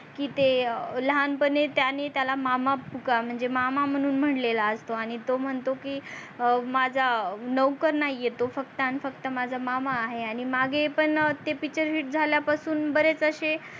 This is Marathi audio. की ते लहानपणी त्यांनी त्याला मामा पुकारले म्हणजे मामा म्हणून म्हणलेला असतो आणि तो म्हणतो की माझ्या नवकर नाही तो फक्तन आणि फक्त माझ्या मामा आहे आणि मागे पण ते picture hits झाल्यापासून बरेच असे